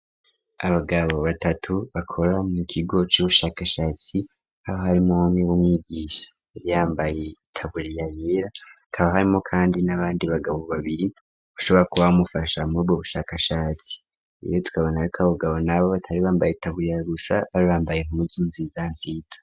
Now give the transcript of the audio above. Abagabo batatu bakora mu kigo c'ubushakashatsi hakaba harimwo umwe w'umwigisha yari yambaye itaburiya yera hakaba harimwo kandi n'abandi bagabo babiri bashobora kuba bamufasha murubwo bushakashatsi rero tukabonako abo bagabo nabo batari bambaye itaburiya gusa bari bambaye impuzu nziza nziza.